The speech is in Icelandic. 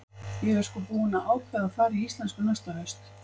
Ég er sko búin að ákveða að fara í íslensku næsta haust.